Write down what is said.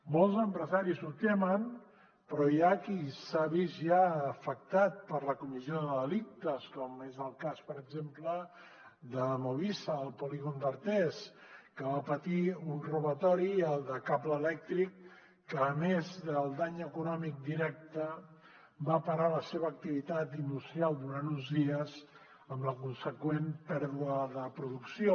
molts empresaris ho temen però hi ha qui s’ha vist ja afectat per la comissió de delictes com és el cas per exemple de movisa al polígon d’artés que va patir un robatori el de cable elèctric que a més del dany econòmic directe va parar la seva activitat industrial durant uns dies amb la conseqüent pèrdua de producció